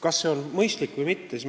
Kas see on mõistlik või mitte?